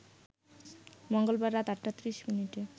মঙ্গলবার রাত ৮টা ৩০মিনিটে